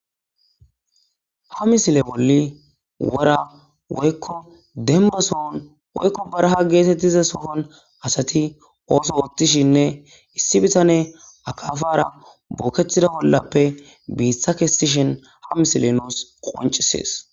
ha misile bolli wora woykko dembasohon woykko baraha geetettiza sokon asati ooso oottishinne issi bitane akafara bookethida bollappe biitha kestishen ha misile nous qoncisees.